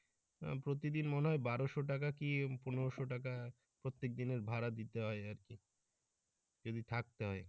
প্রতিদিন মনে হয় বারোশো টাকা কি পনেরোশো টাকা প্রত্যেকদিনের ভাড়া দিতে হয় আরকি যদি থাকতে হয়।